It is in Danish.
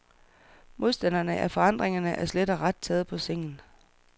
Modstanderne af forandringerne er slet og ret taget på sengen.